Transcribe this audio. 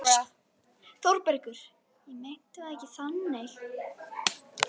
ÞÓRBERGUR: Ég meinti það ekki þannig.